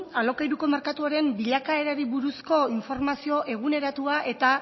alokairuko merkatuaren bilakaerari buruzko informazio eguneratua eta